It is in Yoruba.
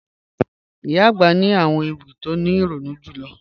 Iyà agbà ni àwọn ewi ti o ni ironu julọ